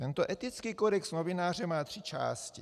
Tento etický kodex novináře má tři části.